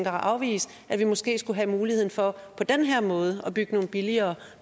at afvise at vi måske skulle have muligheden for på den her måde at bygge nogle billigere